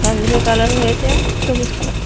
গাছগুলির কালার হয়েছে সবুজ কালার ।